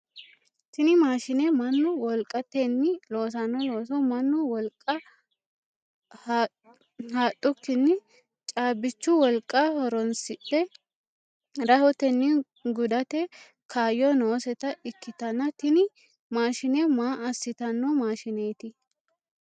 Tinni maashine mannu wolqatenni loosanno looso mannu wolqa hadhukinni caabichu wolqa horoonsidhe rahotenni gudate kaayo nooseta ikitanna tinni maashine maa asitano maashineeti?